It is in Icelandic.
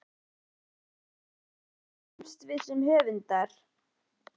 Jú, ef við erum heppin þá þroskumst við sem höfundar.